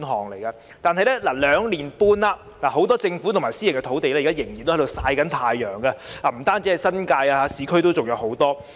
然而，兩年半過去了，很多政府土地和私人土地仍然在"曬太陽"，不只在新界，市區也有很多。